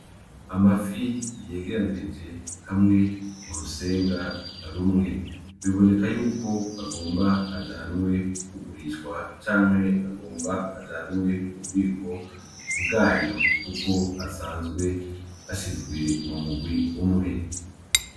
Amafi yegeranirije hamwe m'urusenga rumwe, biboneka yuko agira ajanwe kugurishwa canke agomba ajanwe m'ububiko bwayo kuko asanzwe ashizwe m'umurwi umwe.